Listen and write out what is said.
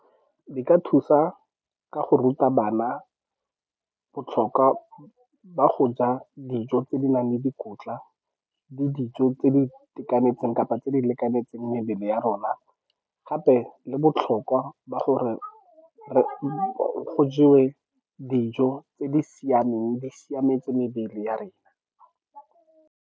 Di ka thusa ka go ruta bana botlhokwa ba go ja dijo tse di nang le dikotla le dijo tse di itekanetseng kapa tse di lekanetseng mebele ya rona, gape le botlhokwa ba gore go jewe dijo tse di siameng, di siametse mebele ya rena.